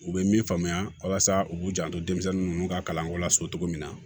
U bɛ min faamuya walasa u k'u janto denmisɛnnin ninnu ka kalanko la so cogo min na